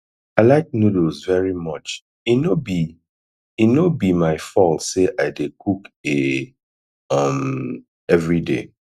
i like noodles very much e no be e no be my fault say i dey cook a um everyday